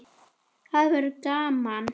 Það verður gaman.